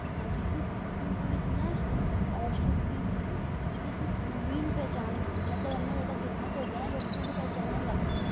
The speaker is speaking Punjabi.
ਹਾਂ ਜੀ ਇਸ ਗੀਤ ਵਿਚ ਨਾਲ ਨਾ ਸ਼ੁਭਦੀਪ ਨੂੰ ਇੱਕ ਨਵੀਂ ਪਹਿਚਾਣ ਮਿਲੀ ਮਤਲਬ ਐਨਾ ਜਿਆਦਾ famous ਹੋ ਗਿਆ ਨਾ ਲੋਕੀਂ ਓਹਨੂੰ ਪਹਿਚਾਨਣ ਲੱਗ ਗਏ ਸੀ